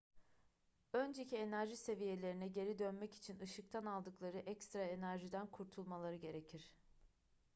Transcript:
önceki enerji seviyelerine geri dönmek için ışıktan aldıkları ekstra enerjiden kurtulmaları gerekir